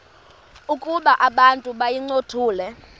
ukuba abantu bayincothule